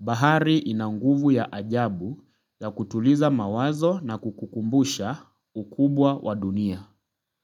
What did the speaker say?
Bahari inanguvu ya ajabu ya kutuliza mawazo na kukukumbusha ukubwa wa dunia.